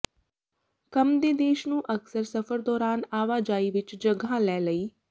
ਕੰਮ ਦੇ ਦੇਸ਼ ਨੂੰ ਅਕਸਰ ਸਫ਼ਰ ਦੌਰਾਨ ਆਵਾਜਾਈ ਵਿੱਚ ਜਗ੍ਹਾ ਲੈ ਲਈ